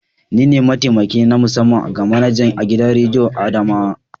Ni ne mataimaki na musamman ga manaja a gidan rediyon adamawa.